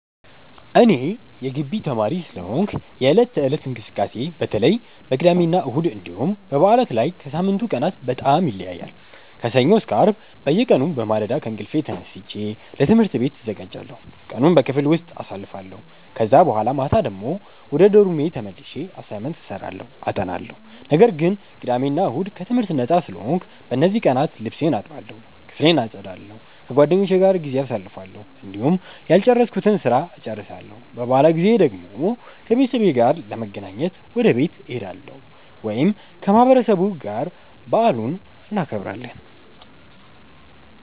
እኔ የጊቢ ተማሪ ስለሆንኩ የዕለት ተዕለት እንቅስቃሴዬ በተለይ በቅዳሜና እሁድ እንዲሁም በበዓላት ላይ ከሳምንቱ ቀናት በጣም ይለያያል። ከሰኞ እስከ አርብ በየቀኑ በማለዳ ከእንቅልፌ ተነስቼ ለትምህርት ቤት እዘጋጃለሁ፣ ቀኑን በክፍል ውስጥ አሳልፋለሁ ከዛ በኋላ ማታ ወደ ዶርሜ ተመልሼ አሳይመንት እሰራለሁ አጠናለሁ። ነገር ግን ቅዳሜ እና እሁድ ከትምህርት ነጻ ስለሆንኩ፣ በእነዚህ ቀናት ልብሴን እጠባለሁ፣ ክፍሌን አጸዳለሁ፣ ከጓደኞቼ ጋር ጊዜ አሳልፋለሁ፣ እንዲሁም ያልጨረስኩትን ስራ እጨርሳለሁ። በበዓላት ጊዜ ደግሞ ከቤተሰቤ ጋር ለመገናኘት ወደ ቤት እሄዳለሁ ወይም ከማህበረሰቡ ጋር በዓሉን እናከብራለን።